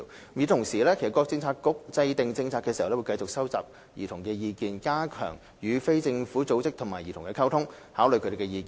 與此同時，各政策局在制訂政策時，會繼續收集兒童的意見，加強與非政府組織及兒童的溝通，參考他們的意見。